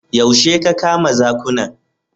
Yaushe ka kama zakunan?